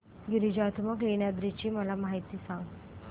गिरिजात्मज लेण्याद्री ची मला माहिती सांग